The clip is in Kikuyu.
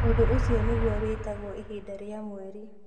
Ũndũ ũcio nĩguo wĩtagwo ihinda rĩa mweri.